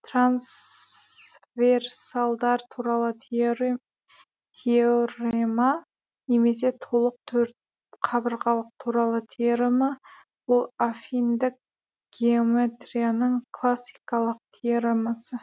трансверсалдар туралы теорема немесе толық төртқабырғалық туралы теорема бұл аффиндік геометрияның классикалық теоремасы